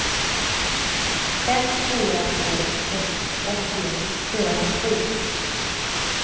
fem fyra två ett åttio fyrahundrasju